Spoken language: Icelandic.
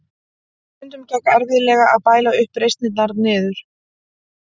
Stundum gekk erfiðlega að bæla uppreisnirnar niður.